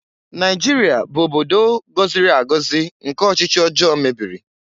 Naịjirịa bụ obodo gọziri agọzi nke ọchịchị ọjọọ mebiri